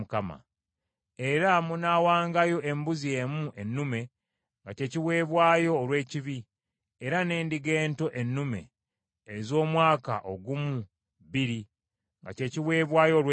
Era munaawangayo embuzi emu ennume nga kye kiweebwayo olw’ekibi, era n’endiga ento ennume ez’omwaka ogumu bbiri nga kye kiweebwayo olw’emirembe.